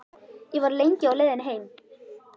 Ég var lengi á leiðinni heim.